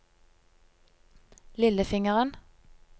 lillefingeren